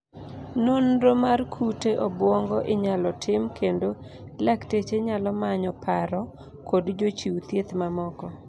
nonro mar kute obwongo inyalo tim kendo lakteche nyalo manyo paro kod jochiw thieth mamoko